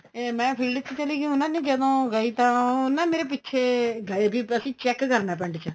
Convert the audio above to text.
ਏ ਮੈਂ field ਚ ਚਲੀ ਗਈ ਉਹਨਾ ਨੇ ਜਦੋਂ ਗਈ ਤਾਂ ਉਹ ਨਾ ਮੇਰੇ ਪਿੱਛੇ ਗਏ ਕਿੱਧਰ ਸੀ check ਕਰਨਾ ਪਿੰਡ ਚ